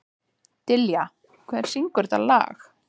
Dilja, hver syngur þetta lag?